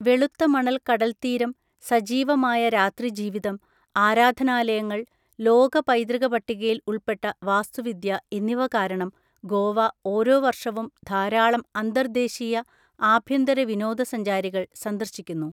വെളുത്ത മണൽ കടൽതീരം, സജീവമായ രാത്രി ജീവിതം, ആരാധനാലയങ്ങൾ, ലോക പൈതൃക പട്ടികയിൽ ഉൾപ്പെട്ട വാസ്തുവിദ്യ എന്നിവ കാരണം ഗോവ ഓരോ വർഷവും ധാരാളം അന്തർദ്ദേശീയ, ആഭ്യന്തര വിനോദ സഞ്ചാരികൾ സന്ദർശിക്കുന്നു.